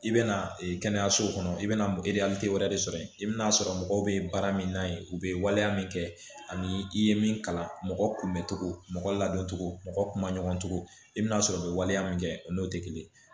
I bɛna kɛnɛyaso kɔnɔ i bɛna wɛrɛ de sɔrɔ yen i bɛ n'a sɔrɔ mɔgɔw bɛ baara min na yen u bɛ waleya min kɛ ani i ye min kalan mɔgɔ kunbɛcogo mɔgɔ ladon cogo mɔgɔ kuma ɲɔgɔn cogo i bɛ n'a sɔrɔ u bɛ waleya min kɛ o n'o tɛ kelen